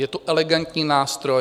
Je to elegantní nástroj.